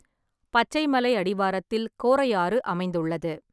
பச்சைமலை அடிவாரத்தில் கோரையாறு அமைந்துள்ளது.